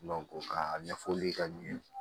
ka ɲɛfɔli ka ɲɛ